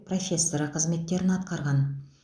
профессоры қызметтерін атқарған